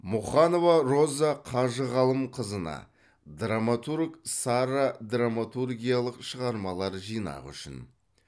мұқанова роза қажығалымқызына драматург сара драматургиялық шығармалар жинағы үшін